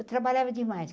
Eu trabalhava demais.